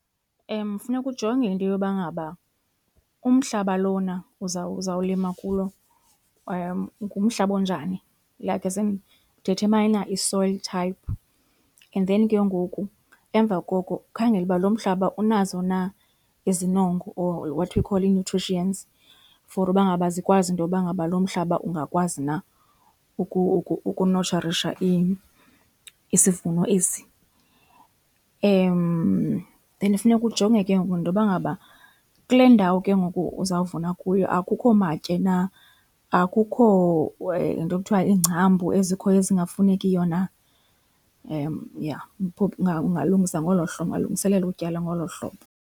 Funeka ujonge into yoba ngaba umhlaba lona uzawulima kuwo ngumhlaba onjani, like as in dithemayina i-soil type. And then ke ngoku emva koko ukhangele uba lo mhlaba unazo na izinongo or what we call ii-nutrients for uba ngaba zikwazi intoba ngaba lo mhlaba ungakwazi na ukunotsharisha isivuno esi. Then funeka ujonge ke ngoku nentoba ngaba kule ndawo ke ngoku uzawuvuna kuyo akukho matye na, akukho le nto ekuthiwa iingcambu ezikhoyo ezingafunekiyo na. Yha ungalungisa ngolo hlobo, ungalungiselela utyala ngolo hlobo.